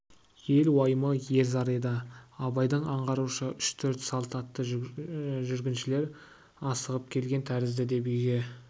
ел уайымы ер зары еді абайдың аңғаруынша үш-төрт салт атты жүргіншілер асығып келген тәрізді деп үйге